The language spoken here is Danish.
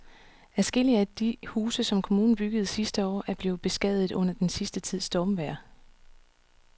Adskillige af de huse, som kommunen byggede sidste år, er blevet beskadiget under den sidste tids stormvejr.